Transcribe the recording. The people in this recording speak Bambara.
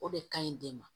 O de kaɲi den ma